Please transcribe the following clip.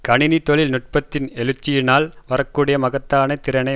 கணினி தொழில் நுட்பத்தின் எழுச்சியினால் வரக்கூடிய மகத்தான திறனை